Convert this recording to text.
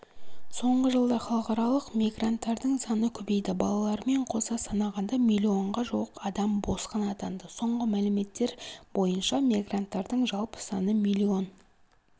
соңғы жылда халықаралық мигранттардың саны көбейді балалармен қоса санағанда миллионға жуық адам босқын атанды соңғы мәліметтер бойынша мигранттардың жалпы саны миллион